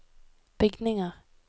bygninger